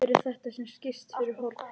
Hver er þetta sem skýst fyrir horn?